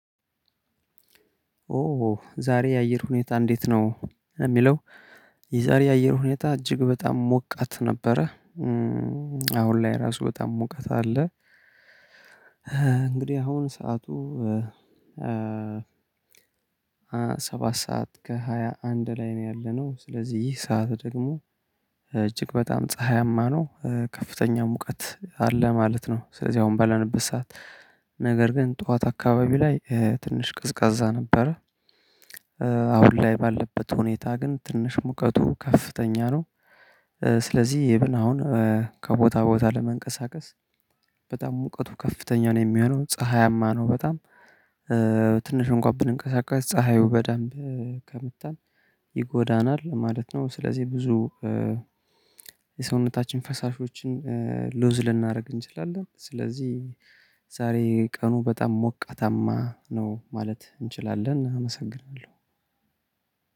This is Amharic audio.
ኦ ዛሬ የአየር ሁኔታ እንዴት? ነው እሚለው የዛሬ የአየር ሁኔታ እጅግ በጣም ሞቃት ነበረ። አሁን ላይ ራሱ በጣም ሙቀት አለ። እንግዲህ አሁን ሰዓቱ ሰባት ሰዓት ከሃያ አንድ ላይ ነው ያለነው። ስለዚህ ይህ ሰዓት ደግሞ እጅግ በጣም ፀሀያማ ነው ከፍተኛ ሙቀት አለ ማለት ነው። ስለዚህ አሁን ባለንበት ሰዓት ነገር ግን ጠዋት አካባቢው ላይ ትንሽ ቀዝቃዛ ነበረ። አሁን ላይ ባለበት ሁኔታ ግን ትንሽ ሙቀቱ ከፍተኛ ነው። ስለዚህ ኢቭን አሁን ከቦታ ቦታ ለመንቀሳቀስ በጣም ሙቀቱ ከፍተኛ ነው የሚሆነው ፀሀያማ ነው በጣም ትንሽ እንኳን ብንንቀሳቀስ ፀሀዩ በደንብ ከመታን ይጎዳናል ማለት ነው። ስለዚህ ብዙ የሰውነታችን ፈሳሾችን ሉዝ ልናረግ እንችላለን። ስለዚህ ዛሬ ቀኑ በጣም ሞቃታማ ነው ማለት እንችላለን አመሰግናለሁ።